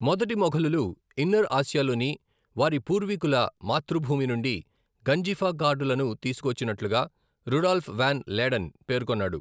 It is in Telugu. మొదటి మొఘలులు ఇన్నర్ ఆసియాలోని వారి పూర్వీకుల మాతృభూమి నుండి గంజిఫా కార్డులను తీసుకొచ్చినట్లుగా రుడాల్ఫ్ వాన్ లేడెన్ పేర్కొన్నాడు.